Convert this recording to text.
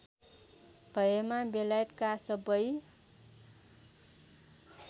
भएमा बेलायतका सबै